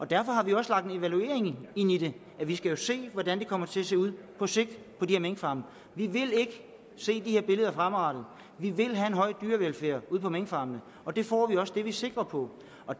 derfor har vi også lagt en evaluering ind i det vi skal jo se hvordan det her kommer til at se ud på sigt på de her minkfarme vi vil ikke se de her billeder fremadrettet vi vil have en høj dyrevelfærd ude på minkfarmene og det får vi også det er vi sikre på